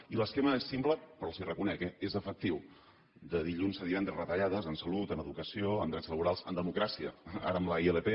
i l’esquema és simple però els ho reconec eh és efectiu de dilluns a divendres reta·llades en salut en educació en drets laborals en demo·cràcia ara amb la ilp